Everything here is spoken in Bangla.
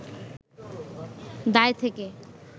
দায় থেকে